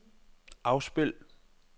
afspil